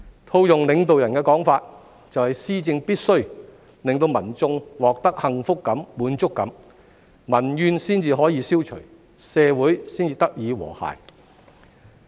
套用領導人的說法，就是施政必須令民眾獲得幸福感、滿足感，民怨才得以消除，社會才得以和諧。